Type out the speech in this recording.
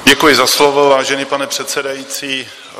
Děkuji za slovo, vážený pane předsedající.